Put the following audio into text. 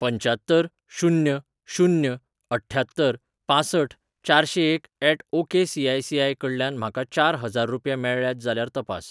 पंच्यात्तर शून्य शून्य अठ्ठ्यात्तर पांसठ चारशेंएक ऍट ओकेसीआयसीआय कडल्यान म्हाका चार हजार रुपया मेळ्ळ्यात जाल्यार तपास.